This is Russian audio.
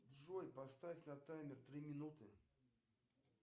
джой поставь на таймер три минуты